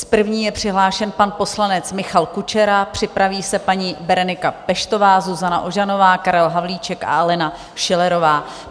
S první je přihlášen pan poslanec Michal Kučera, připraví se paní Berenika Peštová, Zuzana Ožanová, Karel Havlíček a Alena Schillerová.